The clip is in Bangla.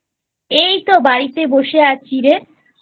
এই তো বাড়িতে বসে আছি রেI